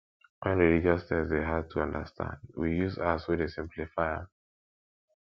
when religious text dey hard to understand we use apps wey dey simplify am